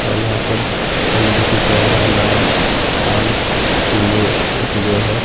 और यहां पर फल रखे गए हैं। अनार आम केले रखे गए हैं।